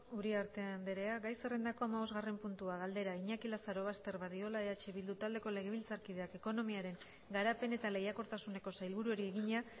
uriarte andrea gai zerrendako hamabosgarren puntua galdera iñaki lazarobaster badiola eh bildu taldeko legebiltzarkideak ekonomiaren garapen eta lehiakortasuneko sailburuari egina